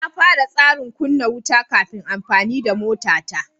Na fara tsarin kunna wuta kafin amfani da motata.